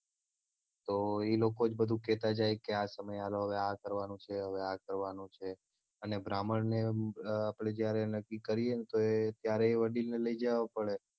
તો ઈ લોકો જ બધું કેતા જાય કે આ સમય આ કરવાનું છે હવે આ કરવાનું છે અને બ્રાહ્મણ ને આપડે જયારે નક્કી કરીએ ત્યારે ઈ વડીલને લઇ જવા પડે